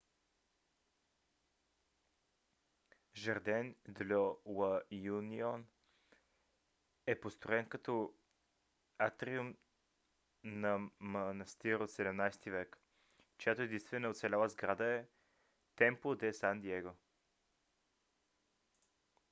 жарден дьо ла юнион е построен като атриум на манастир от 17 век чиято единствена оцеляла сграда е темпло де сан диего